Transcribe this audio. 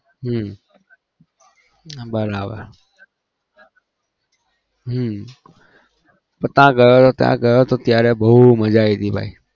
હમ હા બરાબર હમ ત્યાં ગયો હતો ત્યાં ગયો હતો ત્યારે બહુ મજા આવી હતી ભાઈ